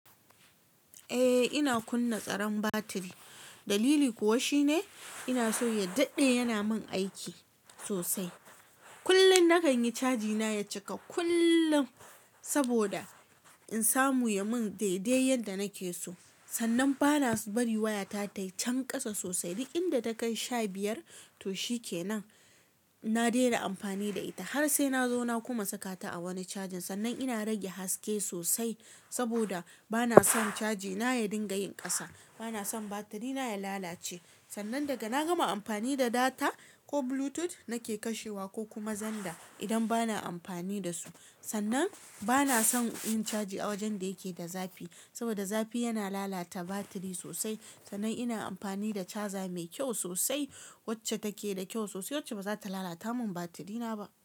Eh ina kunna tsaron batiri, dalili kuwa shine ina so ya daɗe yana min aiki sosai. Kullum na kan yi caji na ya cika kullum saboda in samu ya mun daidai yadda nake so. Sannan bana bari wayata tai can ƙasa sosai. Duk inda takai sha biyar to shikenan, na daina amfani da ita har sai na zo na kuma saka ta a wani cajin. Sannan ina rage haske sosai, saboda bana son chajina ya dinga yin ƙasa. Bana son batiri na ya lalace. Sannan daga na gama amfani da data ko Bluetooth nake kashewa ko kuma zanda idan bana amfani da su. Sannan bana son in caji a wajen da yake da zafi saboda zafi yana lalata batiri sosai. Sannan ina amfani da chaza mai kyau sosai wacce take da kyau sosai wacce ba za ta lalata mun batiri na ba.